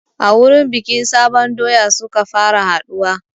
A wurin bikin sabon doya suka fara haɗuwa